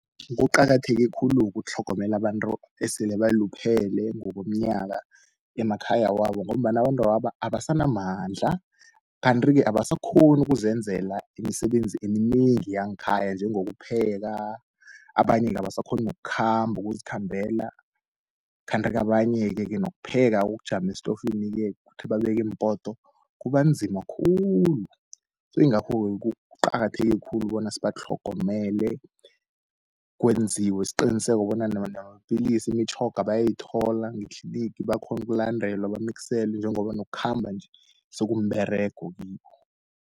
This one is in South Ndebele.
Kuqakatheke khulu ukutlhogomela abantu esele baluphele ngokomnyaka emakhaya wabo, ngombana abantwaba abasanamandla. Kanti-ke abasakhoni ukuzenzela imisebenzi eminengi yangekhaya njengokupheka, abanye-ke abasakhoni nokukhamba ukuzikhambela, kanti-ke abanyeke-ke nokupheka ukujama estofini-ke ukuthi babeke impoto kubanzima khulu. Yingakho-ke kuqakatheke khulu bona sibatlhogomele kwenziwe isiqiniseko bona namapilisi imitjhoga bayayithola, ngetlinigi bakghone ukulandelwa bamikiselwe njengoba nokukhamba nje sekumberego kibo.